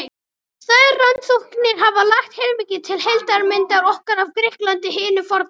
Þær rannsóknir hafa lagt heilmikið til heildarmyndar okkar af Grikklandi hinu forna.